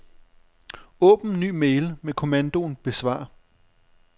Åbn ny mail med kommandoen besvar.